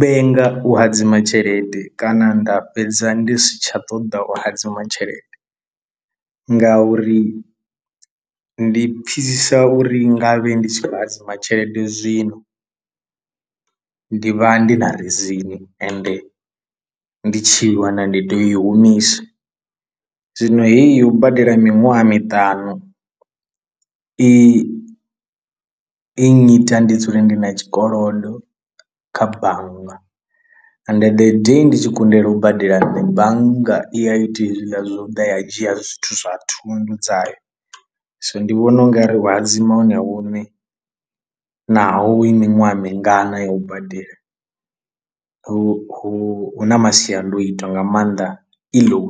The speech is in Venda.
vhenga u hadzima tshelede kana nda fhedza ndi si tsha ṱoḓa u hadzima tshelede, ngauri ndi pfhisisa uri nga vhe ndi tshi khou hadzima tshelede zwino ndi vha ndi na rizini ende ndi tshi i wana ndi tea u i humisa, zwino heyi yo u badela miṅwaha miṱanu i i nnyita ndi dzule ndi na tshikolodo kha bannga, ende the day ndi tshi kundelwa u badela nṋe bannga i a ita hezwiḽa zwo ḓa i a dzhia zwithu zwa thundu dzayo, so ndi vhona ungari hu hadzima hone hune naho i miṅwaha mingana ya u badela hu hu na masiandoitwa nga maanḓa iwe.